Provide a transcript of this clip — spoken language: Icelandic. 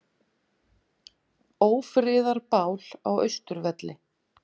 Ófriðarbál á Austurvelli